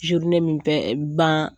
min bɛ ban